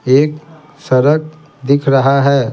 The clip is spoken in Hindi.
एक सड़क दिख रहा है।